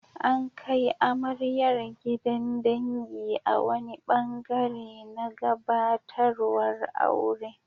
An kai amaryar gidan dangi a wani ɓangare na gabatarwar aure.